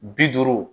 Bi duuru